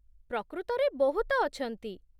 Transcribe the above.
ପ୍ରକୃତରେ, ବହୁତ ଅଛନ୍ତି।